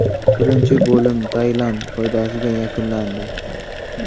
Birinchi bo‘lim Tailand foydasiga yakunlandi.